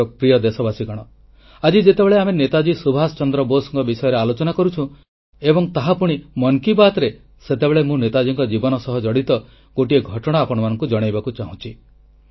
ମୋର ପ୍ରିୟ ଦେଶବାସୀଗଣ ଆଜି ଯେତେବେଳେ ଆମେ ନେତାଜୀ ସୁଭାଷ ଚନ୍ଦ୍ର ବୋଷଙ୍କ ବିଷୟରେ ଆଲୋଚନା କରୁଛୁଁ ଏବଂ ତାହା ପୁଣି ମନ୍ କି ବାତ୍ରେ ସେତେବେଳେ ମୁଁ ନେତାଜୀଙ୍କ ଜୀବନ ସହ ଜଡ଼ିତ ଗୋଟିଏ ଘଟଣା ଆପଣମାନଙ୍କୁ ଜଣାଇବାକୁ ଚାହୁଁଛି